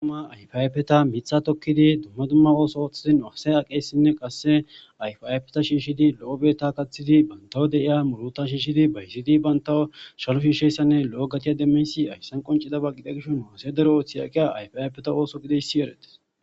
ayfa ayfe miththa tkidi dumma dumma ossota othidi asjiy awes qaseKa ayfa ayfe shishidi lo'o gathidi bantaw de'iza muuruta bayzi shishidi Lo'o gatte demess haysan qoncidaba gidess nu asay Daro gidiyoba gidees